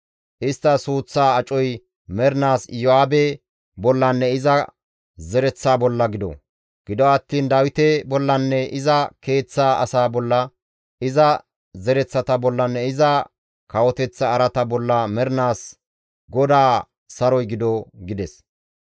Istta suuththaa acoy mernaas Iyo7aabe bollanne iza zereththa bolla gido; gido attiin Dawite bollanne iza keeththaa asaa bolla, iza zereththata bollanne iza kawoteththa araata bolla mernaas GODAA saroy gido» gides.